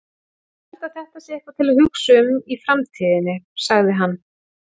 Ég held að þetta sé eitthvað til að hugsa um í framtíðinni, sagði hann.